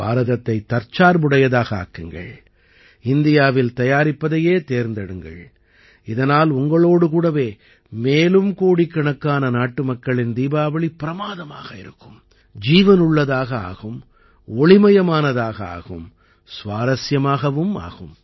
பாரதத்தை தற்சார்புடையதாக ஆக்குங்கள் இந்தியாவில் தயாரிப்பதையே தேர்ந்தெடுங்கள் இதனால் உங்களோடு கூடவே மேலும் கோடிக்கணக்கான நாட்டுமக்களின் தீபாவளி பிரமாதமாக ஆகும் ஜீவனுள்ளதாக ஆகும் ஒளிமயமானதாக ஆகும் சுவாரசியமாகவும் ஆகும்